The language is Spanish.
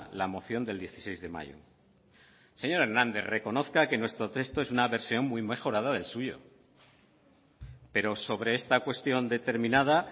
la moción del dieciséis de mayo señor hernández reconozca que nuestro texto es una versión muy mejorada del suyo pero sobre esta cuestión determinada